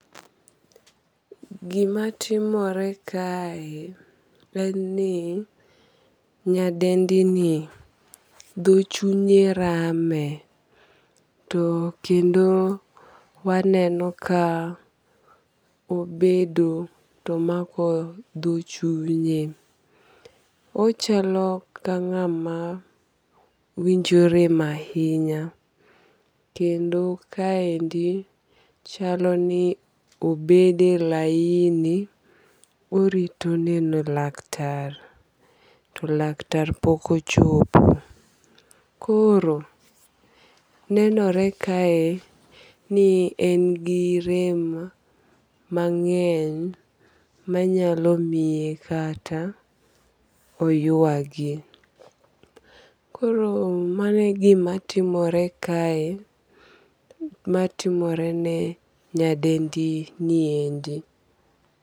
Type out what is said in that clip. Gima timore kae en ni nyadendi ni dho chunye rame. To kendo waneno ka obedo tomako dho chunye. Ochalo ka ng'ama winjo rem ahinya. Kendo kaendi chalo ni obede laini orito neno laktar. To laktar pok ochopo. Koro nenore kae ni en gi rem mang'eny manyalo miye kata oyuagi. Koro mano e gima timore kae matimore ne nyadendi niendi.